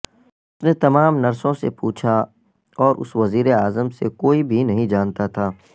اس نے تمام نرسوں سے پوچھا اور اس وزیراعظم سے کوئی بھی نہیں جانتا تھا